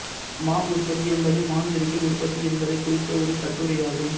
மா உற்பத்தி என்பது மாஞ்செடிகள் உற்பத்தி என்பதைக் குறித்த ஒரு கட்டுரையாகும்